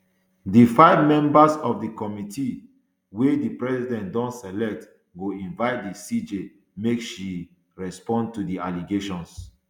di five members of di committee wey di president don select go invite di cj make she respond to di allegations